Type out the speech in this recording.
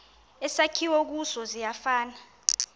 esakhiwe kuso siyafana